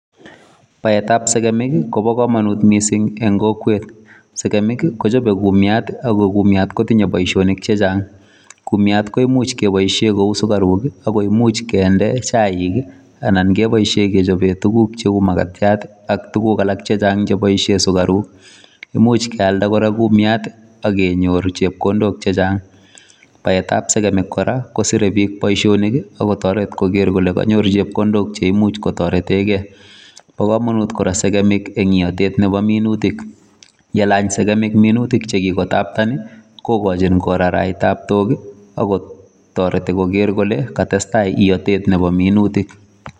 Baet ab segemik kobaa kamanuut en kokwet, segemiik ii kochape kumiiat ako kumiat kotinyei boisionik che chaang, kumiat koimuuch kebaisheen kouu sugariuk ii ako imuuch kende chaik ii anan kebaisheen kechapeen tuguuk che uu makatiat ii ana kebaisheen kechapeen tuguuk alaak che chaang che uu sugariuk imuuch kora keyaldaa kumiat ii akenyoor chepkondook che chaang baet ab segemik kora kosire biik boisionik ii akotaret kole kaimuuch konyoor chepkondook cheimuuch kotareteen kei bo kamanut kora segemiik en ieteet nebo minutik yelaany segemiik minutiik che kikotapteen ii kokochiin koraeach taptook ii ak koger kole katestai ietet nebo minutik.